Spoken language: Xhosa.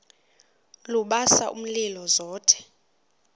lubasa umlilo zothe